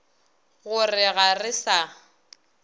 go re ga re sa